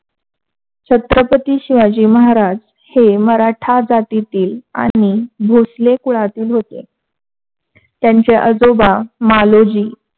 छत्रपती शिवाजी महाराज हे मराठा जातेतील आणि भोसले कुळातील होते. त्यांचे आजोबा मालोजी